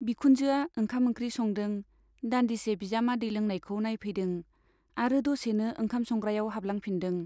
बिखुनजोआ ओंखाम ओंख्रि संदों , दान्दिसे बिजामादै लोंनायखौ नाइफैदों आरो दसेनो ओंखाम संग्रायाव हाबलांफिनदों।